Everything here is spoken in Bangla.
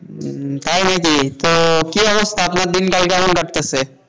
হম তাই নাকি, তো কি অবস্থা আপনার দিনকাল কেমন কাটতাছে?